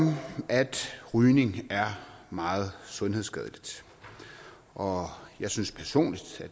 at rygning er meget sundhedsskadeligt og jeg synes personligt